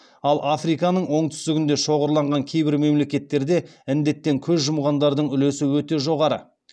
ал африканың оңтүстігінде шоғырланған кейбір мемлекеттерде індеттен көз жұмғандардың үлесі өте жоғары